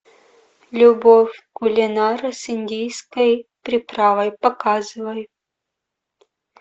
любовь кулинара с индийской приправой показывай